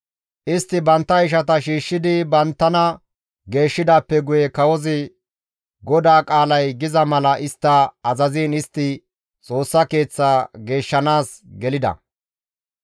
Istti bantta ishata shiishshidi banttana geeshshidaappe guye kawozi GODAA qaalay giza mala istta azaziin istti Xoossa Keeththaa geeshshanaas gelida.